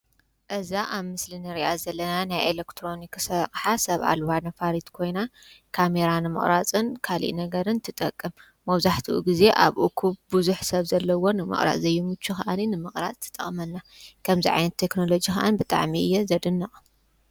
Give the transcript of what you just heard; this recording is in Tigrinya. እዛ አብ ምስሊ እንሪኣ ዘለና ናይ ኢሌክትሮኒክስ አቕሓ ሰብ አልባ ነፋሪት ኮይና ካሜራ ንምቅራፅን ትጠቅም። መብዛሕትኡ ግዜ አብ እኩብ ብዙሕ ሰብ ዘለዎን ንምቅራፅ ዘይምቹ ከዓነ ንምቅራፅ ትጠቅመና። ከምዚ ዓይነት ቴክኖሎጂ ከዓ ብጣዕሚ እየ ዘደንቕ።